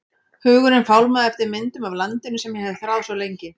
Hugurinn fálmaði eftir myndum af landinu sem ég hafði þráð svo lengi.